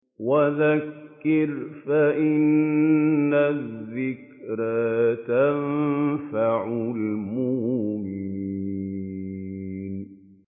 وَذَكِّرْ فَإِنَّ الذِّكْرَىٰ تَنفَعُ الْمُؤْمِنِينَ